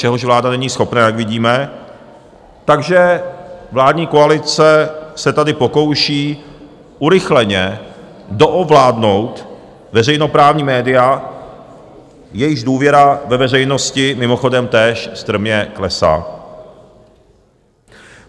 Čehož vláda není schopná, jak vidíme, takže vládní koalice se tady pokouší urychleně doovládnout veřejnoprávní média, jejichž důvěra ve veřejnosti mimochodem též strmě klesá.